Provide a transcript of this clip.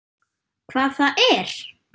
Hvað það er?